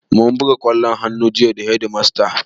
Mun buga ƙwallon hannu jiya da hedimasta